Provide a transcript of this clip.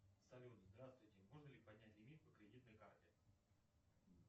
салют здравствуйте можно ли поднять лимит по кредитной карте